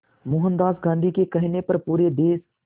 मोहनदास गांधी के कहने पर पूरे देश